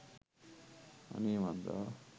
අනේ මන්දා